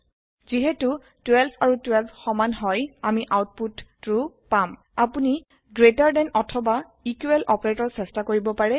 যিহেতু 12 আৰু 12 সমান হয় আমি আওতপুত ট্ৰো পাম আপুনি গ্ৰেটাৰ ডেন অথবা ইকোৱেল অপাৰেটৰ চেষ্টা কৰিব পাৰে